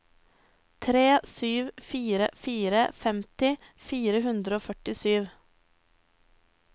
tre sju fire fire femti fire hundre og førtisju